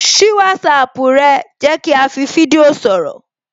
Ṣí WhatsApp ẹ, jẹ́ kí á fi fídíò sọ̀rọ̀